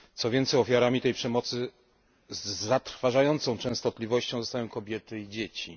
Co więcej ofiarami tej przemocy z zatrważającą częstotliwością padają kobiety i dzieci.